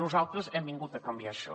nosaltres hem vingut a canviar això